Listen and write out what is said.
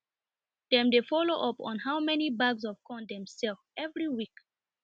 dem dey follow up on how many bags of corn dem sell every week